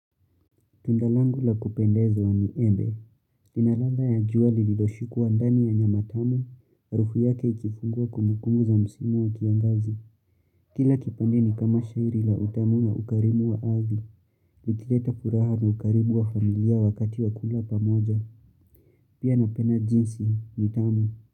Tunda langu la kupendeza ni embe. Ina ladha ya jua lililoshikwa ndani ya nyama tamu. Harufu yake ikifungua kumbukumbu za msimu wa kiangazi. Kila kipande ni kama shairi la utamu na ukarimu wa ardhi. Nikileta furaha na ukarimu wa familia wakati wa kula pamoja. Pia napenda juisi, ni tamu.